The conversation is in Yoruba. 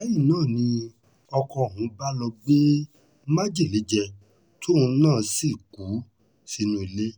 lẹ́yìn náà ni ọkọ̀ ọ̀hún bá lọ́ọ́ gbé májèlé jẹ tóun náà sì kú sínú ilé